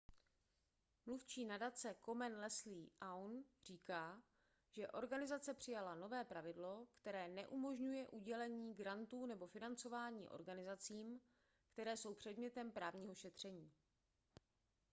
mluvčí nadace komen leslie aun říká že organizace přijala nové pravidlo které neumožňuje udělení grantů nebo financování organizacím které jsou předmětem právního šetření